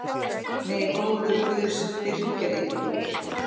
Megi góður Guð styrkja ykkur.